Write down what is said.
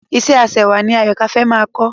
Ìṣe ẹ aṣẹwà ni Àyọ̀kâ fẹ́ máa kọ́